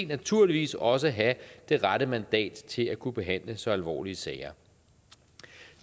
naturligvis også have det rette mandat til at kunne behandle så alvorlige sager